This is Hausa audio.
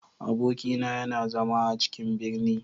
Abokina yana zama a cikin ɓirni.